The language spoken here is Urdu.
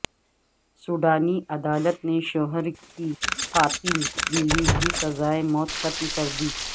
سوڈانی عدالت نے شوہر کی قاتل بیوی کی سزائے موت ختم کردی